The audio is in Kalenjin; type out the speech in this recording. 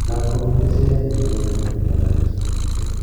magat komiten Sheria neribe olebenditoi karishek